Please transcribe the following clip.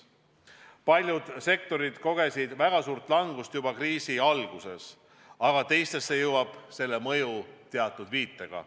Paljud sektorid kogesid väga suurt langust juba kriisi alguses, teisteni jõuab selle mõju teatud viitega.